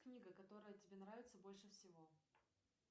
книга которая тебе нравится больше всего